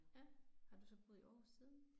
Ja, har du så boet i Aarhus siden?